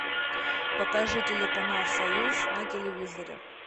покажи телеканал союз на телевизоре